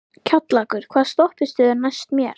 Kjallakur, hvaða stoppistöð er næst mér?